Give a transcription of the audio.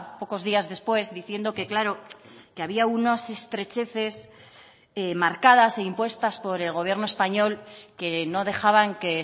pocos días después diciendo que claro que había unas estrecheces marcadas e impuestas por el gobierno español que no dejaban que